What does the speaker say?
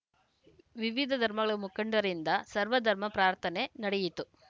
ವಿವಿಧ ಧರ್ಮಗಳ ಮುಖಂಡರಿಂದ ಸರ್ವಧರ್ಮ ಪ್ರಾರ್ಥನೆ ನಡೆಯಿತು